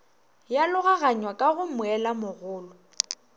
ya logaganywa ka go moelamogolo